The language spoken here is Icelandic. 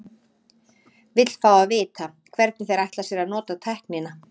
Vill fá að vita, hvernig þeir ætla sér að nota tæknina.